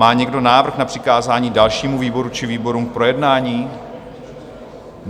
Má někdo návrh na přikázání dalšímu výboru či výborům k projednání?